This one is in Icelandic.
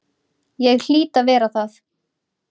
Ég hlýt að vera það.